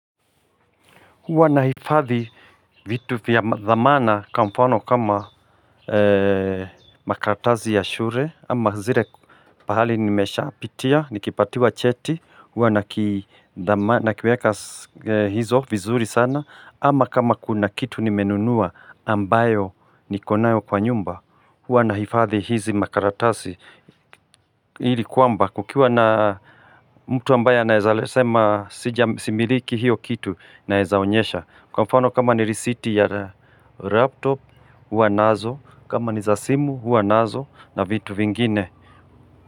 Huwa nahifadhi vitu vya dhamana kwamfano kama makaratasi ya shule Ama zile pahali nimesha pitia, nikipatiwa cheti huwa nakiweka hizo vizuri sana Ama kama kuna kitu nimenunua ambayo nikonayo kwa nyumba Hwa naifadhi hizi makaratazi Hili kuamba kukiwa na mtu ambaye anaeza sema sija similiki hiyo kitu naezaonyesha Kwa mfano kama ni receipt ya laptop hua nazo kama ni za simu hua nazo na vitu vingine.